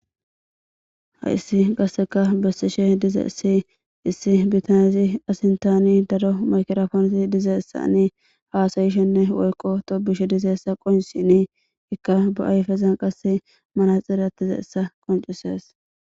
Ha issi qasseka bessishe dize ssi issi bitanesi asintani dado makerafonsi dizeessa ni haasayishenne woykqo toobushe dizeessa qonsini ikka bo'ayfezan qasse mana xirattizeessa qoncisees.